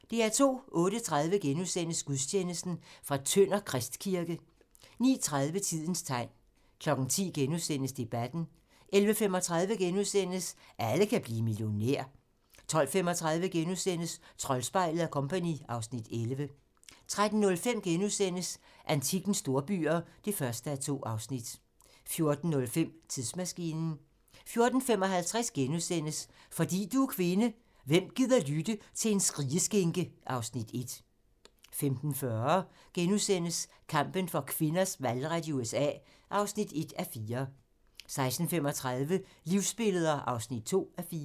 08:30: Gudstjeneste: Tønder Kristkirke * 09:30: Tidens tegn 10:00: Debatten * 11:35: Alle kan blive millionær * 12:35: Troldspejlet & Co. (Afs. 11)* 13:05: Antikkens storbyer (1:2)* 14:05: Tidsmaskinen 14:55: Fordi du er kvinde: Hvem gider lytte til en skrigeskinke? (Afs. 1)* 15:40: Kampen for kvinders valgret i USA (1:4)* 16:35: Livsbilleder (2:4)